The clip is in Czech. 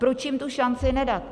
Proč jim tu šanci nedat?